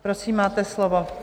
Prosím, máte slovo.